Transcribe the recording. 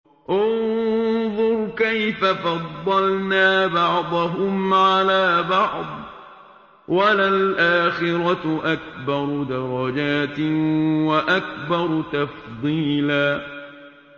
انظُرْ كَيْفَ فَضَّلْنَا بَعْضَهُمْ عَلَىٰ بَعْضٍ ۚ وَلَلْآخِرَةُ أَكْبَرُ دَرَجَاتٍ وَأَكْبَرُ تَفْضِيلًا